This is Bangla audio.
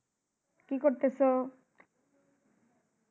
কি করতেছো?